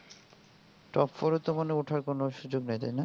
top four এ তো মনে হয় ওঠার কোনো সুযোগ নাই তাই না